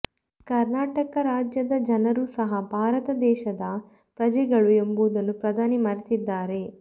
ಕರ್ನಾಟಕ ರಾಜ್ಯದ ಜನರು ಸಹ ಭಾರತ ದೇಶದ ಪ್ರಜೆಗಳು ಎಂಬುದನ್ನು ಪ್ರಧಾನಿ ಮರೆತಿದ್ದಾರೆ